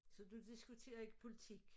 Så du diskuterer ikke politik